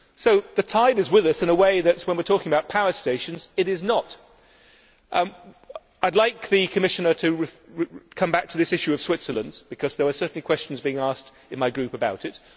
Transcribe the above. So the tide is with us in a way that, when we are talking about power stations, it is not. I would like the Commissioner to come back to this issue of Switzerland, because there were certainly questions being asked in my group about it.